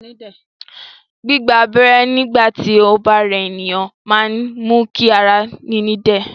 Gbígba abẹ́rẹ́ nígbà tí ó bá rẹ ènìyàn máa ń mú kí ara níní dẹ̀